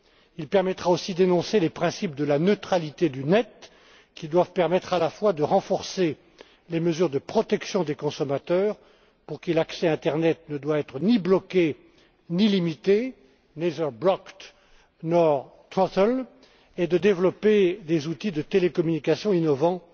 Il permettra aussi d'énoncer les principes de la neutralité du net qui doivent permettre à la fois de renforcer les mesures de protection des consommateurs pour qui l'accès à Internet ne doit être ni bloqué, ni limité neither blocked nor throttled et de développer des outils de télécommunication innovants